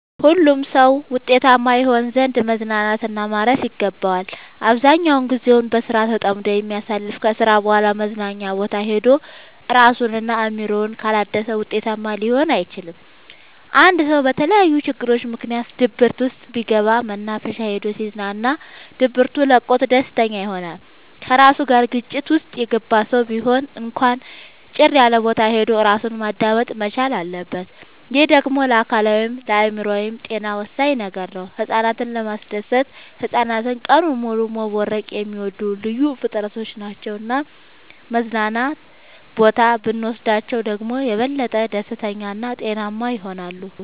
ሁሉም ሰው ውጤታማ ይሆን ዘንድ መዝናናት እና ማረፍ ይገባዋል። አብዛኛውን ግዜውን በስራ ተጠምዶ የሚያሳልፍ ከስራ በኋላ መዝናኛ ቦታ ሄዶ እራሱን እና አእምሮውን ካላደሰ ውጤታማ ሊሆን አይችልም። አንድ ሰው በተለያዩ ችግሮች ምክንያት ድብርት ውስጥ ቢገባ መናፈሻ ሄዶ ሲዝናና ድብቱ ለቆት ደስተኛ ይሆናል። ከራሱ ጋር ግጭት ውስጥ የገባ ሰው ቢሆን እንኳን ጭር ያለቦታ ሄዶ እራሱን ማዳመጥ መቻል አለበት። ይህ ደግሞ ለአካላዊይም ለአእምሮአዊም ጤና ወሳኝ ነገር ነው። ህፃናትን ለማስደሰት ህፃናት ቀኑን ሙሉ መቦረቅ የሚወዱ ልዩ ፍጥረቶች ናቸው መዝናና ቦታ ብኖስዳቸው ደግሞ የበለጠ ደስተኛ እና ጤናማ ይሆናሉ።